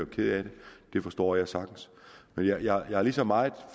kede af det det forstår jeg sagtens jeg har lige så meget